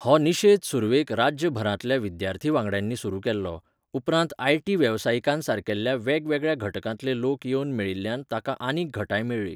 हो निशेध सुरवेक राज्यभरांतल्या विद्यार्थी वांगड्यांनी सुरू केल्लो, उपरांत आयटी वेवसायिकांसारकेल्ल्या वेगवेगळ्या घटकांतले लोक येवन मेळिल्ल्यान ताका आनीक घटाय मेळ्ळी.